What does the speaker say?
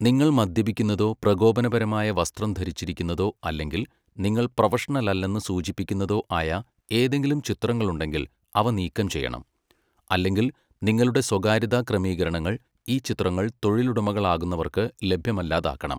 നിങ്ങൾ മദ്യപിക്കുന്നതോ പ്രകോപനപരമായ വസ്ത്രം ധരിച്ചിരിക്കുന്നതോ അല്ലെങ്കിൽ നിങ്ങൾ പ്രൊഫഷണലല്ലെന്ന് സൂചിപ്പിക്കുന്നതോ ആയ ഏതെങ്കിലും ചിത്രങ്ങളുണ്ടെങ്കിൽ അവ നീക്കംചെയ്യണം, അല്ലെങ്കിൽ നിങ്ങളുടെ സ്വകാര്യതാക്രമീകരണങ്ങൾ ഈ ചിത്രങ്ങൾ തൊഴിലുടമകളാകാവുന്നവർക്ക് ലഭ്യമല്ലാതാക്കണം.